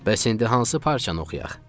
Bəs indi hansı parçanı oxuyaq?